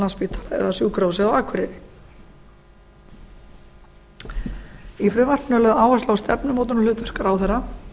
landspítala eða sjúkrahúsið á akureyri í frumvarpinu er lögð áhersla á stefnumótunarhlutverk ráðherra